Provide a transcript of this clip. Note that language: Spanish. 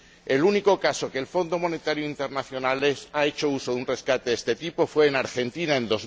El único caso en que el Fondo Monetario Internacional ha hecho uso de un rescate de este tipo fue en Argentina en